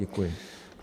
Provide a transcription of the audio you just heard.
Děkuji.